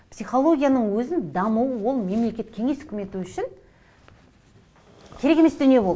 психологияның өзінің дамуы ол мемлекет кеңес үкіметі үшін керек емес дүние болды